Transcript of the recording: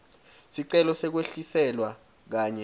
sicelo sekwehliselwa kanye